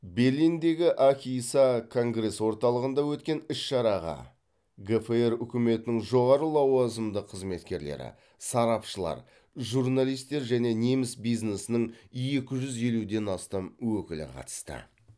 берлиндегі ахіса конгресс орталығында өткен іс шараға гфр үкіметінің жоғары лауазымды қызметкерлері сарапшылар журналистер және неміс бизнесінің екі жүз елуден астам өкілі қатысты